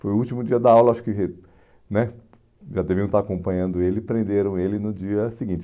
Foi o último dia da aula, acho que né já deviam estar acompanhando ele, prenderam ele no dia seguinte.